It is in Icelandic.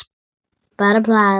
Bara plat.